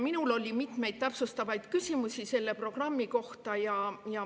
Minul oli mitmeid täpsustavaid küsimusi selle programmi kohta.